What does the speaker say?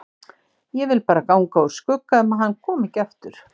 Ég vil bara ganga úr skugga um að hann komi ekki aftur